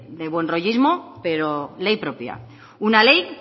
de buenrollismo pero ley propia una ley